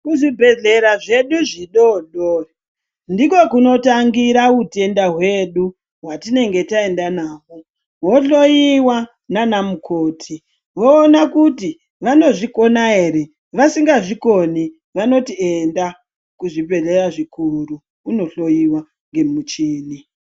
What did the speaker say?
Kuzvibhedhlera zvedu zvidodori ndiko kunotangira utenda hwedu hwatinenge taenda nahwo hohloyiwa nanamukoti vowona kuti vanozvikona ere vasingazvikoni vanoti enda kuzvibhedhlera zvikuru unohloyiwa ngemuchini.